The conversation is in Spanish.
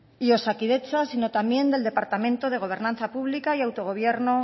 y osakidetza sino también del departamento de gobernanza pública y autogobierno